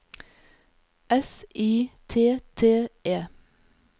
S I T T E